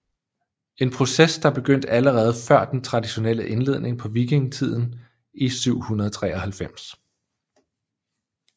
En proces der begyndte allerede før den traditionelle indledning på vikingetiden i 793